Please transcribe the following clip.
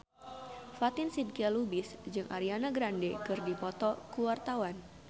Fatin Shidqia Lubis jeung Ariana Grande keur dipoto ku wartawan